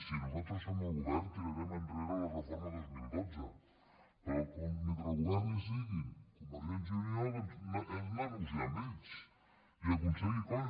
si nosaltres som al govern tirarem enrere la reforma dos mil dotze però mentre al govern hi siguin convergència i unió doncs hem de negociar amb ells i aconseguir coses